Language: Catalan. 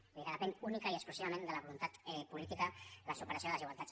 vull dir que depèn únicament i exclusivament de la voluntat política la superació de les desigualtats